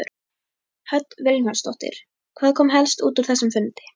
Hödd Vilhjálmsdóttir: Hvað kom helst út úr þessum fundi?